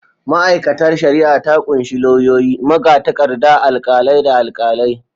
Ma’aikatar shari’a ta kunshi lauyoyi, magatakarda, alkalai, da alkalai.